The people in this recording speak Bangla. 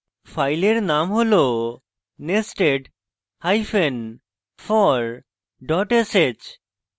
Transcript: ফাইলের name হল nested hyphen for dot sh